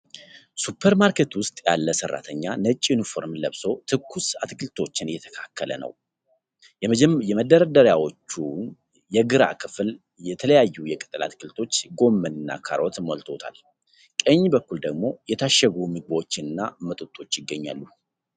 ሱፐር ማርኬት ውስጥ ያለ ሰራተኛ ነጭ ዩኒፎርም ለብሶ ትኩስ አትክልቶችን እያስተካከለ ነው። የመደርደሪያዎቹን የግራ ክፍል የተለያዩ የቅጠል አትክልቶች፣ ጎመን እና ካሮት ሞልተውታል፤ ቀኝ በኩል ደግሞ የታሸጉ ምግቦች እና መጠጦች ይገኛሉ።